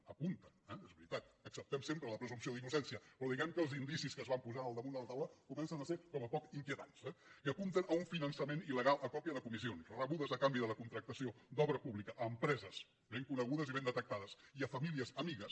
apunten eh és veritat acceptem sempre la presumpció d’innocència però diguemne que els indicis que es van posar en el damunt de la taula comencen a ser com a poc inquietants eh que apunten a un finançament il·legal a còpia de comissions rebudes a canvi de la contractació d’obra pública a empreses ben conegudes i ben detectades i a famílies amigues